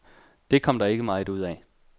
Det kom der ikke meget ud af.